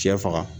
Cɛ faga